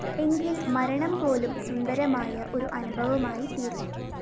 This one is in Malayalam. എങ്കില്‍ മരണം പോലും സുന്ദരമായ ഒരു അനുഭവമായിത്തീരും